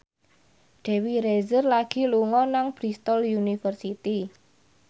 Dewi Rezer lagi sekolah nang Bristol university